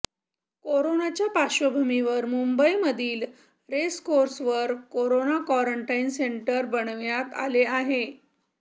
करोनाच्या पार्श्वभुमीवर मुंबईमधील रेसकोर्सवर करोना क्वारंटाईन सेंटर बनविण्यात आले आहे